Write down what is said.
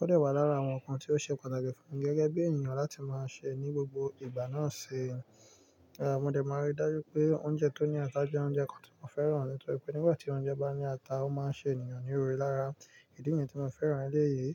Ó de wà lára àwọn ǹkan tí ó ṣe pàtàkì fún gẹ́gẹ́ bí ènìyàn láti máa sè ní gbogbo ìgbà náà ṣe. Rárá, mo dẹ̀ máa ríi dájú pé oúnjẹ tó ní ata jẹ́ oúnjẹ kan tí mo fẹ́ràn nítorí pé nígbà tí oúnjẹ bá ní ata, ó máa ṣe ènìyàn ní òrò lára. Ìdí niyen tí mo fẹ́ràn eleyìí,